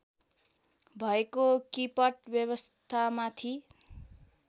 भएको किपट व्यवस्थामाथि